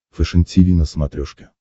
фэшен тиви на смотрешке